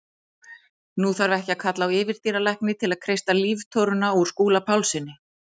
Nú þarf ekki að kalla á yfirdýralækni til að kreista líftóruna úr Skúla Pálssyni.